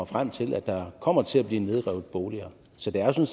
frem til at der kommer til at blive nedrevet boliger så det er jo